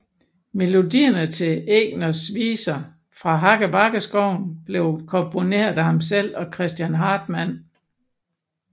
Melodierne til Egners viser fra Hakkebakkeskoven blev komponeret af ham selv og Christian Hartmann